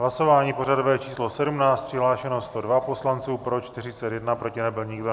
Hlasování pořadové číslo 17, přihlášeno 102 poslanců, pro 41, proti nebyl nikdo.